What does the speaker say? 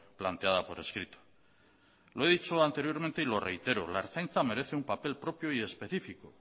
planteada por escrito lo he dicho anteriormente y lo reitero la ertzaintza merece un papel propio y específico